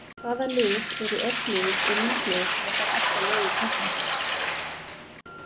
Hvaða lið eru öflugust og líklegust til að fara alla leið í keppninni?